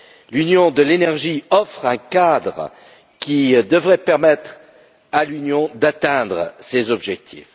L'Union de l'énergie offre un cadre qui devrait permettre à l'Union d'atteindre ces objectifs.